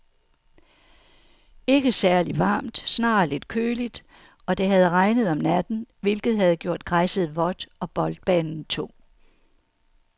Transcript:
Ikke særligt varmt, snarere lidt køligt, og det havde regnet om natten, hvilket havde gjort græsset vådt og boldbanen tung.